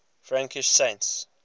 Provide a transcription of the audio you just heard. frankish saints